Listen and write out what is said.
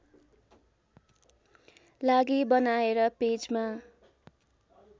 लागि बनाएर पेजमा